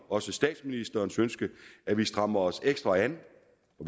også statsministerens ønske at vi strammer os ekstra an